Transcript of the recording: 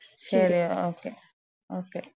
ശരി okay okay.